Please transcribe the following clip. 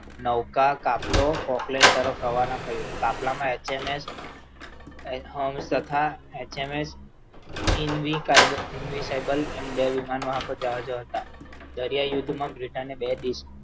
નવકાર કાફલો Fockland તરફ રવાના થયો કાફલામાં એચએમએસ hums તથા એચએમએસ ઇનવી કાયદો Capable વિમાન જાજો હતા. દરિયાઈ યુદ્ધમાં britain બે દેશ